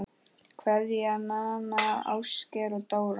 Kveðja, Nanna, Ásgeir og Dóra